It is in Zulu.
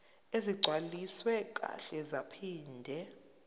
ezigcwaliswe kahle zaphinde